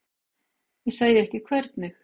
Ég segi ekki hvernig.